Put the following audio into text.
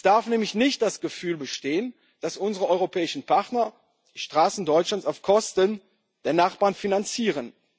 Es darf nämlich nicht das Gefühl bestehen, dass unsere europäischen Partner Straßen Deutschlands auf Kosten der Nachbarn finanzieren.